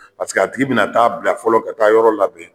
Paseke a tigi bi na taa bila fɔlɔ ka a ka yɔrɔ labɛn.